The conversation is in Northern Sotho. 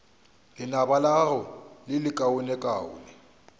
lenaba la gago le lekaonekaone